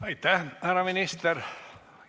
Aitäh, härra minister!